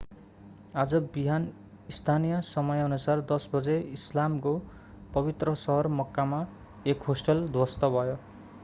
आज बिहान स्थानीय समयानुसार 10 बजे इस्लामको पवित्र सहर मक्कामा एक होस्टल ध्वस्त भयो